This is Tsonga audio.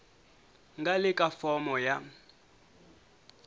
nga le ka fomo ya